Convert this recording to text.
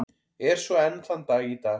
Er svo enn þann dag í dag.